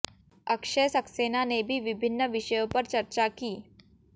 अक्षय सक्सेना ने भी विभिन्न विषयों पर चर्चा की